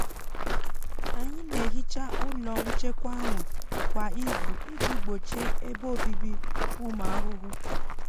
anyị na-ehicha ụlọ nchekwa ahụ kwa izu iji gbochie ebe obibi ụmụ ahụhụ.